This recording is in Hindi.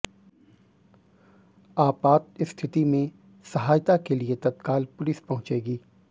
आपात स्थिति में सहायता के लिए तत्काल पुलिस पंहुचेगी